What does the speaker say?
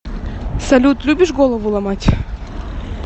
салют любишь голову ломать